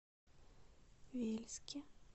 вельске